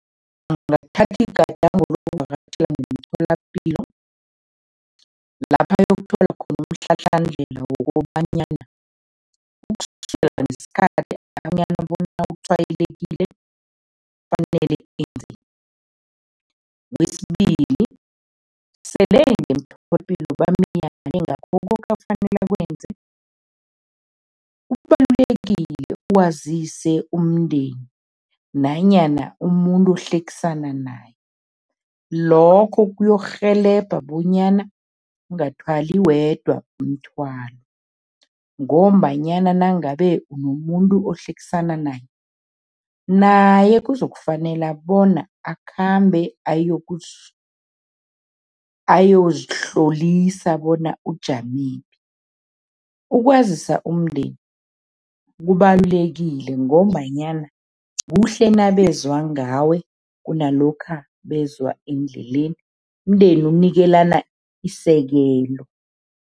Angathatha igadango lokuvakatjhela ngemtholapilo, lapha ayokuthola khona umhlahlandlela wokobanyana ukusukela ngesikhathi bona utshwayelekile, kufanele enzeni. Kwesibili, sele ngemtholapilo bamyale ngakho koke afanele akwenze, kubalulekile wazise umndeni nanyana umuntu ohlekisana naye. Lokho kuyokurhelebha bonyana ungathwali wedwa umthwalo ngombanyana nangabe unomuntu ohlekisana naye, naye kuzokufanele bona akhambe ayozihlolisa bona ujamephi. Ukwazisa umndeni kubalulekile ngombanyana kuhle nabezwa ngawe, kunalokha bezwa endleleni, Umndeni unikelana isekelo.